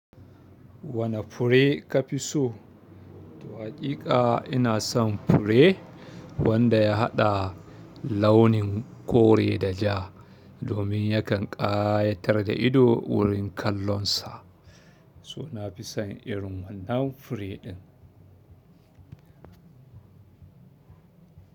Wane fure ka fi so? To haƙiƙa ina son fure, wanda ya haɗa launin kore da ja, domin yakan ƙayatar da ido wurin kallonsa, so na fi son irin wannan fure ɗin.